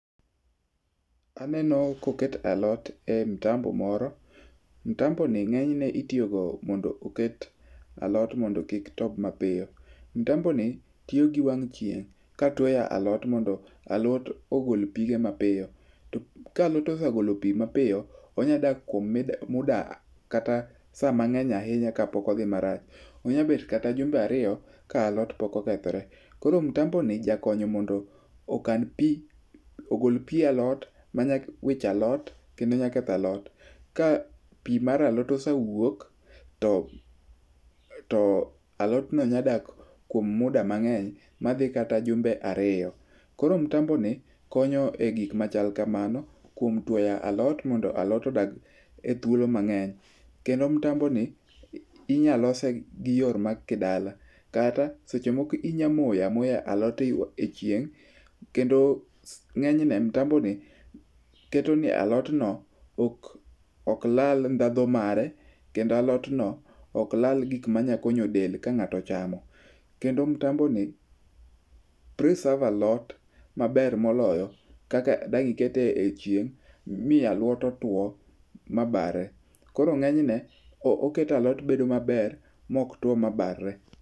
Aneno koket alot e mtambo moro. Mtamboni ng'enyne itiyogo mondo oket alot mondo kik tob mapiyo. Mtamboni tiyo gi wang' chieng' ka twoyo alot mondo alot ogol pige mapiyo. Ka alot osegolo pi mapiyo, onyadak kuom muda kata sa mang'eny ahinya kapok odhi marach. Onya bet kata jumbe ariyo ka alot pok okethre. Koro mtamboni jakonyo mondo ogol pi alot manyawicho alot kendo nyaketho alot, ka pi mar alot osewuok to alot no nyadak kuom muda mang'eny madhi kata jumbe ariyo. Koro mtamboni konyo e gik machal kamano kuom twoyo alot mondo alot odag e thuolo mang'eny. Kendo mtamboni inyalose gi yor ma kidala kata seche moko inya moyoamoya alot e chieng' kendo ng'enyne mtamboni keto ne alotno ok lal ndhadhu mare kendo alotno ok lal gik manyakonyo del kang'ato ochamo. Kendo mtamboni preserve alot maber moloyo kaka dang' ikete e chieng' mi alot otwo ma barre. koro ng'enyne oketo alot bedo maber mok two ma barre.